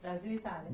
Brasil e Itália.